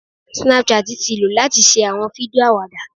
Snapchat ti lo lati ṣe awọn fidio awada.